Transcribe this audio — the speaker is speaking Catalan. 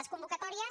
les convocatòries